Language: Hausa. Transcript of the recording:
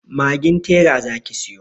Magin tera zaki siyo.